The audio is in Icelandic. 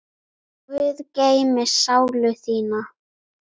Guð geymi sálu þína.